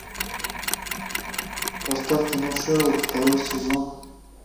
поставь кино шерлок второй сезон